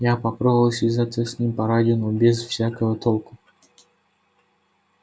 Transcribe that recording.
я попробовал связаться с ним по радио но без всякого толку